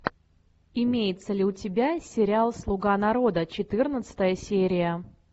имеется ли у тебя сериал слуга народа четырнадцатая серия